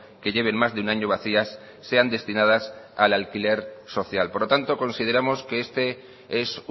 que lleven más de un año vacías sean destinadas al alquiler social por lo tanto consideramos que este es